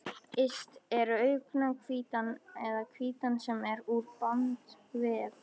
Yst er augnhvítan eða hvítan sem er úr bandvef.